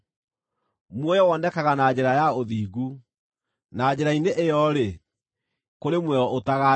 Muoyo wonekaga na njĩra ya ũthingu; na njĩra-inĩ ĩyo-rĩ, kũrĩ muoyo ũtagaathira.